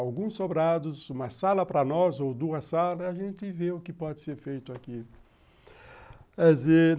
alguns sobrados, uma sala para nós ou duas salas, a gente vê o que pode ser feito aqui.